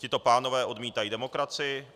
Tito pánové odmítají demokracii.